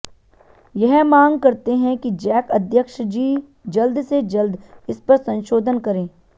यह मांग करते हैं कि जैक अध्यक्ष जी जल्द से जल्द इस पर संशोधन करें